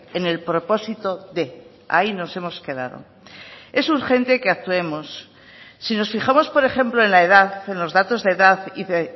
en el propósito de ahí nos hemos quedado es urgente que actuemos si nos fijamos por ejemplo en la edad en los datos de edad y de